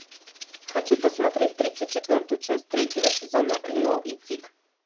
хочу посмотреть тридцать четвертую часть третьего сезона лео и тиг